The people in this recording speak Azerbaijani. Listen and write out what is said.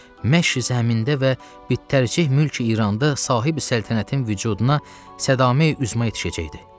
məşriq zəmində və bittərcüh mülki İranda sahebi səltənətin vücuduna sədaməyi üzma yetişəcəkdir.